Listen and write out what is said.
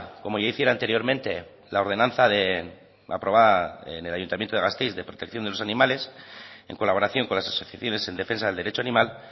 como ya hiciera anteriormente la ordenanza aprobada en el ayuntamiento de gasteiz de protección de los animales en colaboración con las asociaciones en defensa del derecho animal